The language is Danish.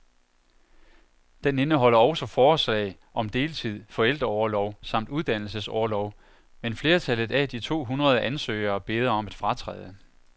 Den indeholder også forslag om deltid, forældreorlov samt uddannelsesorlov, men flertallet af de to hundrede ansøgere beder om at fratræde.